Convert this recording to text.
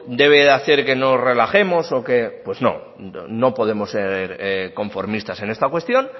debe hacer que nos relajemos pues no no podemos ser conformistas en esta cuestión